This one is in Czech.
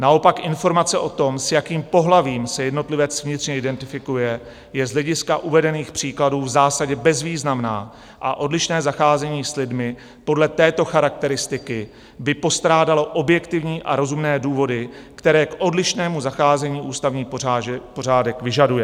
Naopak informace o tom, s jakým pohlavím se jednotlivec vnitřně identifikuje, je z hlediska uvedených příkladů v zásadě bezvýznamná a odlišné zacházení s lidmi podle této charakteristiky by postrádalo objektivní a rozumné důvody, které k odlišnému zacházení ústavní pořádek vyžaduje.